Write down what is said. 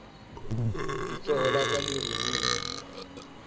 letsoho la ka le ruruhile